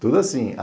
Tudo assim.